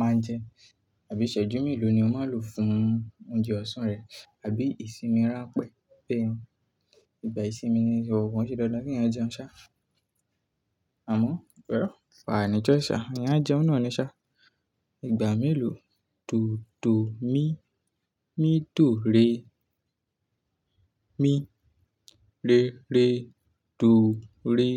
máa ń jẹ? Àbí ṣẹ́jú mélòó ni o máa lò fún oúnjẹ ọ̀sán rẹ, àbí ìsinmi rán pẹ́, bẹ́ẹ̀ ni ìgbà ìsinmi ni ń sọ, kọ́n sì dáadáa kí yan jẹun sá. Àmọ́, well ani choice ẹ̀yàn ajeun nani sha. Ìgbà mélòó? Tòótòó mí, mí tòó re, mí rere tòó re.